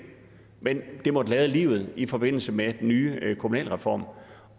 men det måtte lade livet i forbindelse med den nye kommunalreform